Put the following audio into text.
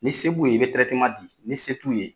Ni se b'u ye i bɛ tirɛtema di ni se t'u ye